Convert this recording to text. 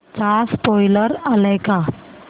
चा स्पोईलर आलाय का